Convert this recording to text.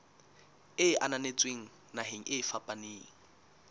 e ananetsweng naheng e fapaneng